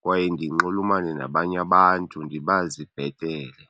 kwaye ndinxulumane nabanye abantu ndibazi bhetele.